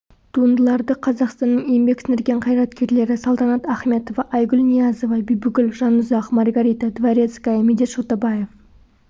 туындыларды қазақстанның еңбек сіңірген қайраткерлері салтанат ахметова айгүл ниязова бибігүл жанұзақ маргарита дворецкая медет шотабаев